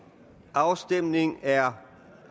afstemningen er